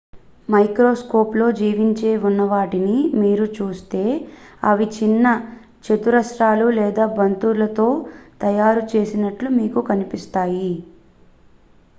microscope లో జీవించి ఉన్నవాటిని మీరు చూస్తే ,అవి చిన్న చతురస్రాలు లేదా బంతులతో తయారు చేసినట్లు మీకు కనిపిస్తాయి